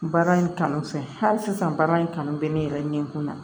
Baara in kanu fɛ hali sisan baara in kanu bɛ ne yɛrɛ ɲɛkun na